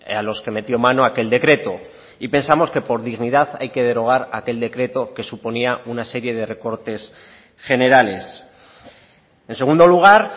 a los que metió mano aquel decreto y pensamos que por dignidad hay que derogar aquel decreto que suponía una serie de recortes generales en segundo lugar